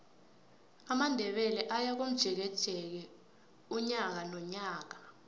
amandebele ayakomjekeje unyaka nonyaka